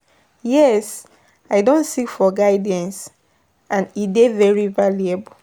yes, i don seek for guidance, and e dey very valuable.